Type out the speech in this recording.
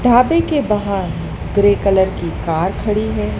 ढाबे के बाहर ग्रे कलर की कार खड़ी है।